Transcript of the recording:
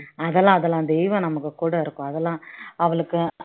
அதெல்லாம் அதெல்லாம் தெய்வம் நமக்கு கூட இருக்கும் அதெல்லாம் அவளுக்கு